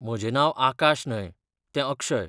म्हजें नांव आकाश न्हय, तें अक्षय.